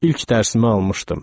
İlk dərsimi almışdım.